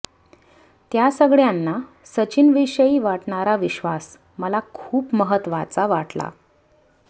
त्या सगळ्यांना सचिनविषयी वाटणारा विश्वास मला खूप महत्त्वाचा वाटला